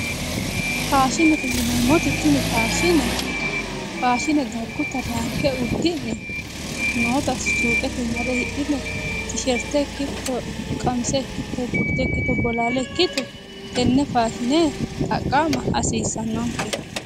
Faashinete yineemmoti tini faashine dikkote dagguta ranke uddi'ne noota suuqetenni hidhi'ne tiisherte ikkito qamise ikkito bolaale ikkito tenne faashine xaqqa"ma hasiissannonke.